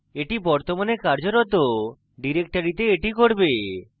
এটি বর্তমানে কার্যরত ডিরেক্টরিতে এটি করবে